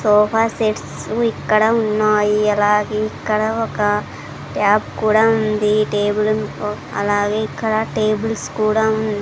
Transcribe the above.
sofa sets ఇక్కడ ఉన్నాయి అరాగే ఇక్కడ ఒక ట్యాప్ కూడా ఉంది టేబుల్ అలాగే ఇక్కడ టేబుల్స్ కూడా ఉం--